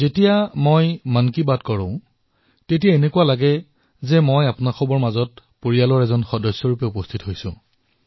যেতিয়া মই মন কী বাতত কথা পাতো তেতিয়া মোৰ এনে অনুভৱ হয় যেন মই আপোনালোকৰ মাজৰে এজন আপোনালোকৰ পৰিয়ালৰ সদস্য হিচাপে উপস্থিত আছো